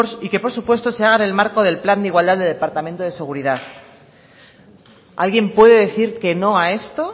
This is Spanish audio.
y que por supuesto se haga en el marco de plan de igualdad del departamento de seguridad alguien puede decir que no a esto